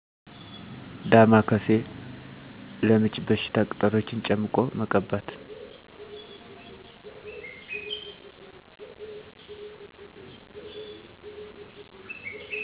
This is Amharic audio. ዳማ ካሴ። ለምች በሽታ ቅጠሎችን ጨምቆ መቀባት።